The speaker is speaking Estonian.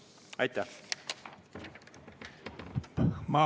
Aitäh!